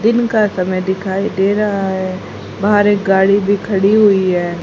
दिन का समय दिखाई दे रहा है बाहर एक गाड़ी भी खड़ी हुई है।